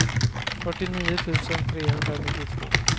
fyrtionio tusen trehundranittiotvå